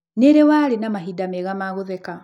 Nĩ rĩ warĩ na mahinda mega ma gũtheka?